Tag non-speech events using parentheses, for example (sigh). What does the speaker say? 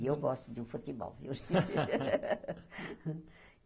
E eu gosto de um futebol, viu? (laughs)